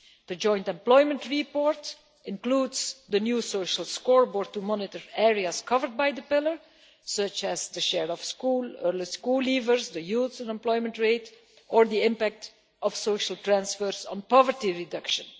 The joint employment report includes the new social scoreboard to monitor areas covered by the Pillar, such as the share of school leavers, the youth unemployment rate or the impact of social transfers on poverty reduction.